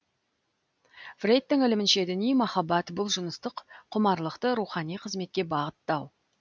фрейдтің ілімінше діни махаббат бұл жыныстық құмарлықты рухани қызметке бағыттау